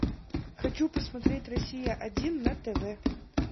хочу посмотреть россия один на тв